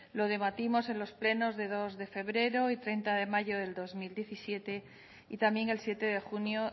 lo debatimos en los plenos de dos de febrero y treinta mayo del dos mil diecisiete y también el siete de junio